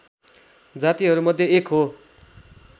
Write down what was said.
जातिहरू मध्ये एक हो